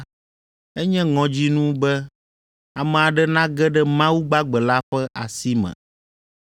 Enye ŋɔdzinu be ame aɖe nage ɖe Mawu gbagbe la ƒe asi me.